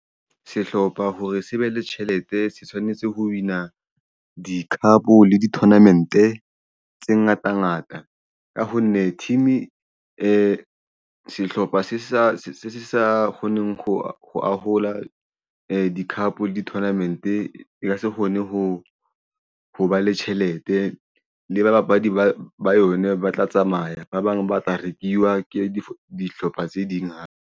Sehlopha hore se be le tjhelete se tshwanetse ho win-a di-club le di tournament e tse ngata ngata ka ho nne team e sehlopha se sa kgoneng ho ahola di-cup di-tournament e ka se kgone ho ba le tjhelete. Le babapadi ba yone ba tla tsamaya ba bang ba tla rekiwa ke dihlopha tse ding hape.